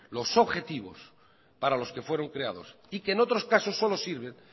los objetivos para los que fueron creados y que en otros casos solo sirven